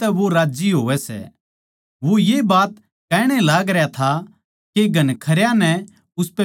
वो ये बात कहणे लागरया था के घणखरयां नै उसपै बिश्वास करया